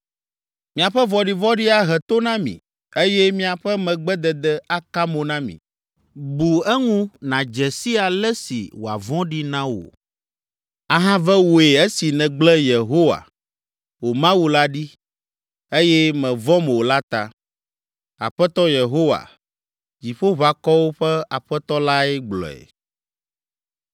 Miaƒe vɔ̃ɖivɔ̃ɖi ahe to na mi eye miaƒe megbedede aka mo na mi. Bu eŋu nàdze si ale si wòavɔ̃ɖi na wò, ahave wòe esi nègblẽ Yehowa, wò Mawu la ɖi, eye mèvɔ̃m o la ta.” Aƒetɔ Yehowa, Dziƒoʋakɔwo ƒe Aƒetɔ lae gblɔe.